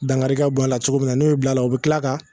Dangari ka bɔ a la cogo min na n'o y'o bila o be kila ka